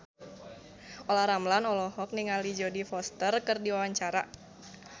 Olla Ramlan olohok ningali Jodie Foster keur diwawancara